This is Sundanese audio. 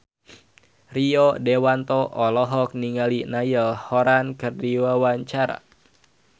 Rio Dewanto olohok ningali Niall Horran keur diwawancara